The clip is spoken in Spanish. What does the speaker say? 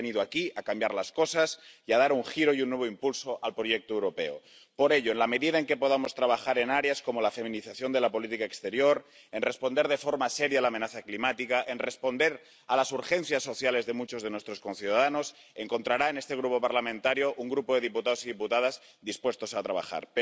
Hemos venido aquí a cambiar las cosas y a dar un giro y un nuevo impulso al proyecto europeo. Por ello, en la medida en que podamos trabajar en áreas como la feminización de la política exterior, en responder de forma seria a la amenaza climática, en responder a las urgencias sociales de muchos de nuestros conciudadanos encontrará en este grupo parlamentario un grupo de diputados y diputadas dispuestos a trabajar.